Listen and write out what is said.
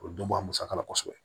O dɔn a musaka la kosɛbɛ